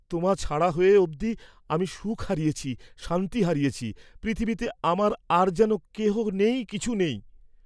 তোমা ছাড়া হ'য়ে অবধি আমি সুখ হারিয়েছি, শান্তি হারিয়েছি, পৃথিবীতে আমার আর যেন কেহ নেই কিছু নেই।